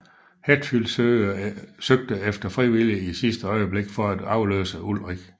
Hetfield søgte efter frivillige i sidste øjeblik for at afløse Ulrich